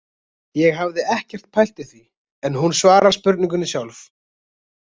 Ég hafði ekkert pælt í því en hún svarar spurningunni sjálf.